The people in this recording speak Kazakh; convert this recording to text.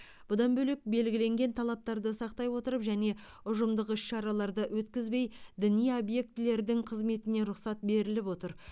бұдан бөлек белгіленген талаптарды сақтай отырып және ұжымдық іс шараларды өткізбей діни объектілердің қызметіне рұқсат беріліп отыр